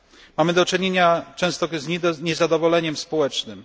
Mamy do czynienia często z niezadowoleniem społecznym.